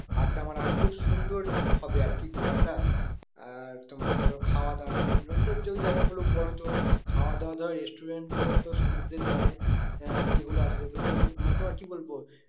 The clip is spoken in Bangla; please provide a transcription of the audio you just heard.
আড্ডা মারা হবে খুব সুন্দর হবে আর কি ঘোরাটা। আর তোমার ধরো খাওয়া দাওয়া বিভিন্ন ওই জায়গায় গুলো খাওয়া দাওয়া ধরো restaurant গুলো তো সমুদ্রের ধারে আহ যেগুলো আছে সে গুলোতে মানে তোমার কি বলবো